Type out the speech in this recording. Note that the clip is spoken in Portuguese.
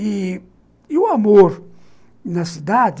E o amor na cidade,